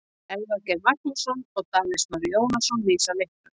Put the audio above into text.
Elvar Geir Magnússon og Davíð Snorri Jónasson lýsa leiknum.